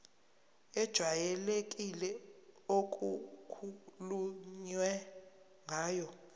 ejwayelekile okukhulunywe ngayo